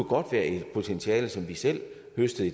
godt være et potentiale som vi selv høstede